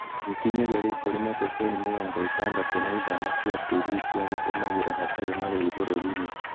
Gũkinyĩria rĩu kũrĩ na ceceni mĩrongo ĩtandatũ na ithano cia TV cia gũtũmagĩrũo hatarĩ marĩhi bũrũri-inĩ.